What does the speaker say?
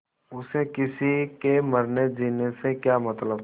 उसे किसी के मरनेजीने से क्या मतलब